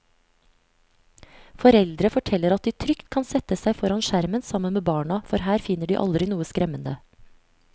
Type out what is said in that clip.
Foreldre forteller at de trygt kan sette seg foran skjermen sammen med barna, for her finner de aldri noe skremmende.